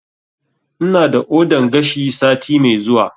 Ina da ordan gashi sati mai zuwa